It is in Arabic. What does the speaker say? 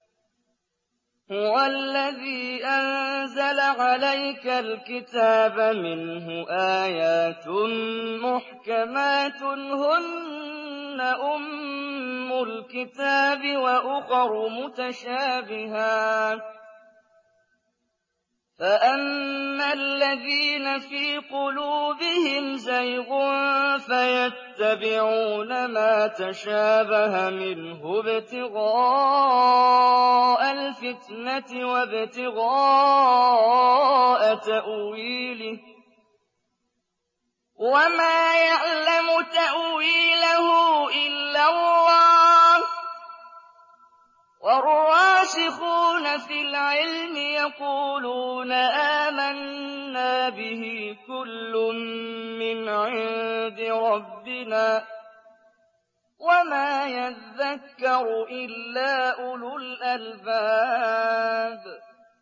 هُوَ الَّذِي أَنزَلَ عَلَيْكَ الْكِتَابَ مِنْهُ آيَاتٌ مُّحْكَمَاتٌ هُنَّ أُمُّ الْكِتَابِ وَأُخَرُ مُتَشَابِهَاتٌ ۖ فَأَمَّا الَّذِينَ فِي قُلُوبِهِمْ زَيْغٌ فَيَتَّبِعُونَ مَا تَشَابَهَ مِنْهُ ابْتِغَاءَ الْفِتْنَةِ وَابْتِغَاءَ تَأْوِيلِهِ ۗ وَمَا يَعْلَمُ تَأْوِيلَهُ إِلَّا اللَّهُ ۗ وَالرَّاسِخُونَ فِي الْعِلْمِ يَقُولُونَ آمَنَّا بِهِ كُلٌّ مِّنْ عِندِ رَبِّنَا ۗ وَمَا يَذَّكَّرُ إِلَّا أُولُو الْأَلْبَابِ